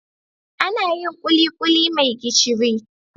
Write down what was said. Anayin kulikuli me gishiri